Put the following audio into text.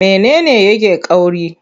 Mene ne yake ƙauri?